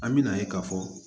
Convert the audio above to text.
An bɛna ye k'a fɔ